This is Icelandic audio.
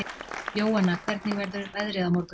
Jóanna, hvernig verður veðrið á morgun?